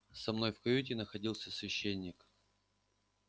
со мной в каюте находился священник